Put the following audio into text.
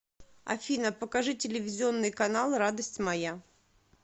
афина покажи телевизионный канал радость моя